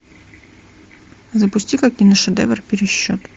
запусти ка киношедевр пересчет